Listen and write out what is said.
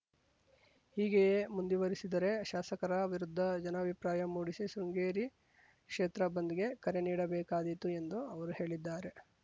ಹೀಗೆಯೇ ಮುಂದುವರಿಸಿದರೇ ಶಾಸಕರ ವಿರುದ್ಧ ಜನಾಭಿಪ್ರಾಯ ಮೂಡಿಸಿ ಶೃಂಗೇರಿ ಕ್ಷೇತ್ರ ಬಂದ್‌ಗೆ ಕರೆ ನೀಡಬೇಕಾದೀತು ಎಂದು ಅವರು ಹೇಳಿದ್ದಾರೆ